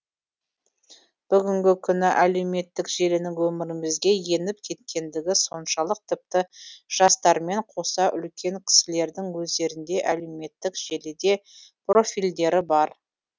бүгінгі күні әлеуметтік желінің өмірімізге еніп кеткендігі соншалық тіпті жастармен қоса үлкен кісілердің өздерінде әлеуметтік желіде профильдері бар